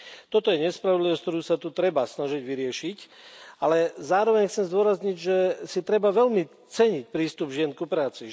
Toto je nespravodlivosť, ktorú sa tu treba snažiť vyriešiť, ale zároveň chcem zdôrazniť, že si treba veľmi ceniť prístup žien ku práci.